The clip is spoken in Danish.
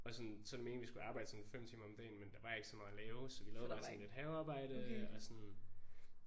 Og sådan så er det meningen vi skulle arbejde sådan 5 timer om dagen men der var ikke så meget at lave så vi lavede bare sådan lidt havearbejde og sådan